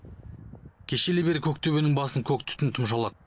кешелі бері көк төбенің басын көк түтін тұмшалады